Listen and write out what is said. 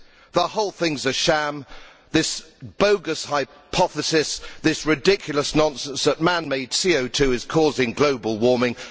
The whole thing is a sham this bogus hypothesis, this ridiculous nonsense that man made CO 2 is causing global warming.